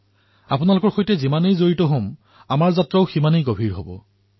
আপোনালোকে যিমানে সংবদ্ধ হব সিমানেই আমাৰ যাত্ৰা গভীৰ হব আৰু সকলোৱে সন্তোষিত হব